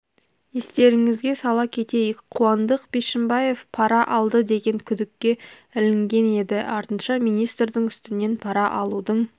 естеріңізге сала кетейік қуандық бишімбаев пара алды деген күдікке ілінген еді артынша министрдің үстінен пара алудың